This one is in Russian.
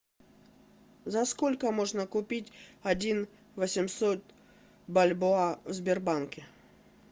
за сколько можно купить один восемьсот бальбоа в сбербанке